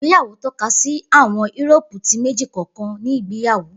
Igbeyawo tọkasi àwọn Euroopu ti meji kọọkan ni igbeyawo.